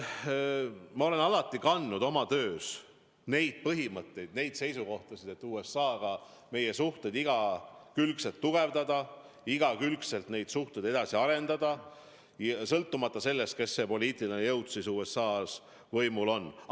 Ma olen alati oma töös lähtunud nendest põhimõtetest, nendest seisukohtadest, et meie suhteid USA-ga tuleb igakülgset tugevdada, neid suhteid tuleb igakülgselt edasi arendada, sõltumata sellest, milline poliitiline jõud USA-s võimul on.